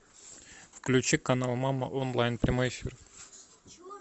включи канал мама онлайн прямой эфир